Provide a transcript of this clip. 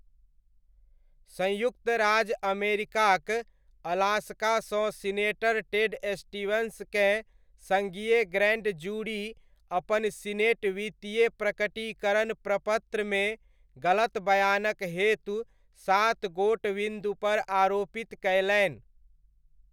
संयुक्त राज्य अमेरिकाक अलास्कासँ सीनेटर टेड स्टीवन्सकेँ सङ्घीय ग्रैन्ड जूरी अपन सीनेट वित्तीय प्रकटीकरण प्रपत्रमे गलतबयानक हेतु सातगोट विन्दुपर आरोपित कयलनि।